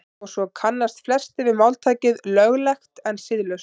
og svo kannast flestir við máltækið „löglegt en siðlaust“